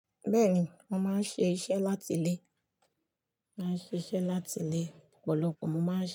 Bẹ́ẹ̀ni, mo máa ń ṣiṣẹ́ láti ilé, máa ń ṣiṣẹ́ láti ilé, ọ̀pọ̀lọpọ̀ mo máa ń ṣe.